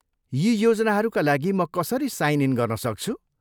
यी योजनाहरूका लागि म कसरी साइन इन गर्न सक्छु?